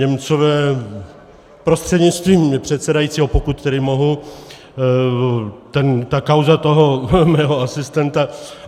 Němcové prostřednictvím předsedajícího, pokud tedy mohu, ta kauza toho mého asistenta.